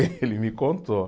Ele me contou.